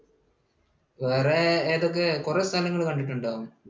വേറെ ഏതൊക്കെയാ? കുറെ സ്ഥലങ്ങൾ കണ്ടിട്ടുണ്ടോ?